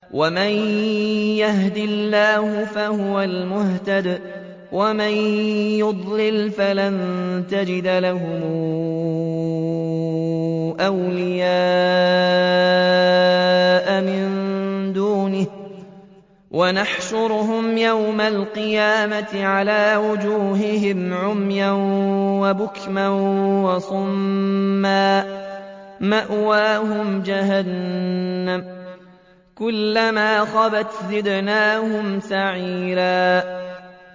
وَمَن يَهْدِ اللَّهُ فَهُوَ الْمُهْتَدِ ۖ وَمَن يُضْلِلْ فَلَن تَجِدَ لَهُمْ أَوْلِيَاءَ مِن دُونِهِ ۖ وَنَحْشُرُهُمْ يَوْمَ الْقِيَامَةِ عَلَىٰ وُجُوهِهِمْ عُمْيًا وَبُكْمًا وَصُمًّا ۖ مَّأْوَاهُمْ جَهَنَّمُ ۖ كُلَّمَا خَبَتْ زِدْنَاهُمْ سَعِيرًا